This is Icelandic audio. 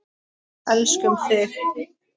Elskum þig.